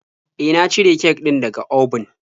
E, na cire kek din da ga obun.